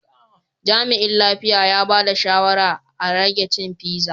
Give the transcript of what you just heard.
Jami'in lafiya ya bada shawarma a rage cin pizza.